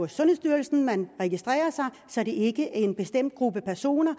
sundhedsstyrelsen man registrerer sig så det ikke er en bestemt gruppe personer